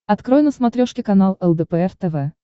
открой на смотрешке канал лдпр тв